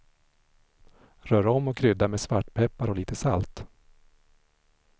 Rör om och krydda med svartpeppar och lite salt.